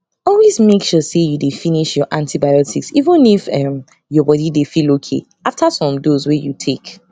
always make sure say you dey finish your antibiotics even if um your body dey feel okay after some dose wey you take